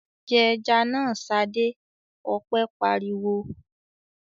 "Jẹ ẹja náà, Ṣadé!" Ọpẹ́ pariwo.